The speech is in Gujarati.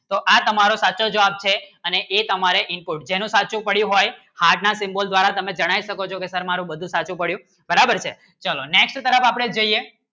તો આજ તમારો સાચો જવાબ છે અને એ તમારે input જણે સાચું પડ્યું હોય heart ના symbol દ્વારા તમે જણાવી શકો છો કે સર મારું બધું સાચું પડ્યું બરાબર છે next તરફ અપને જોઈએ